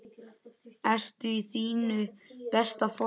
Ertu í þínu besta formi?